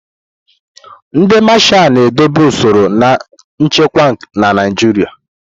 Ndị Mashalu na-edobe usoro na nchekwa na Naijiria.